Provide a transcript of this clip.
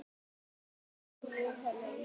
Sunna: Hærri laun?